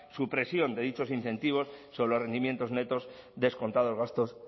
supresión de dichos incentivos sobre los rendimientos netos descontados gastos